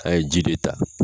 A ye ji de ta.